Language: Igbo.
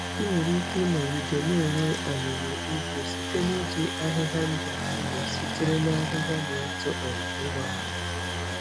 Ị nwere ike ịnọgide na-enwe ọmụmụ ugbo site na iji ahịhịa ndụ ndụ sitere na ahịhịa na-eto um ngwa ngwa.